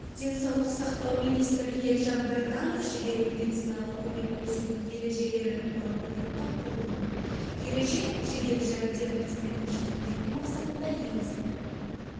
денсаулық сақтау министрі елжан біртанов жедел медициналық көмек көрсету ережелері туралы бұйрыққа қол қойды ереже жедел жәрдем қызметін жеңілдету мақсатында енгізілді